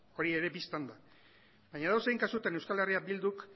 hori ere bistan da baina edozein kasutan euskal herria bilduk